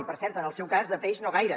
i per cert en el seu cas de peix no gaire